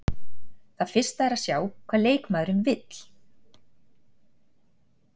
Það fyrsta er að sjá hvað leikmaðurinn vill.